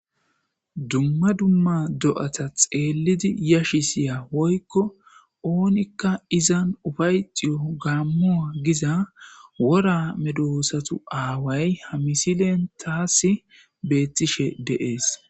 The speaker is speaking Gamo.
Dumma dumma do'ata xeellidi yashi siya woykko oonikka izan ufayxiyo gaammua giza wora medoosatu aaway ha misilen taas beettishe deees